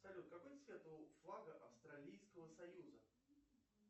салют какой цвет у флага австралийского союза